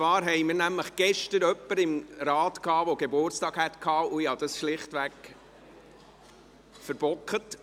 Wir hatten gestern jemanden im Rat, der Geburtstag gehabt hätte, und ich habe dies schlichtweg verbockt.